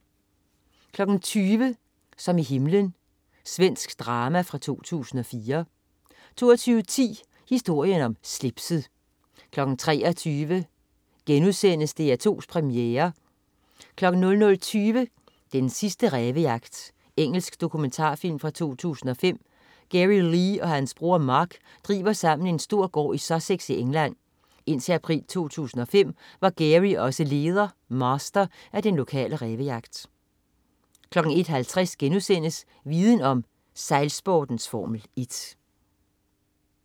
20.00 Som i himlen. Svensk drama fra 2004 22.10 Historien om slipset 23.00 DR2 Premiere* 00.20 Den sidste rævejagt. Engelsk dokumentarfilm fra 2005. Gary Lee og hans bror Mark driver sammen en stor gård i Sussex i England. Indtil april 2005 var Gary også leder, Master, af den lokale rævejagt 01.50 Viden om: Sejlsportens Formel 1*